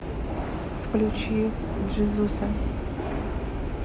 включи джизуса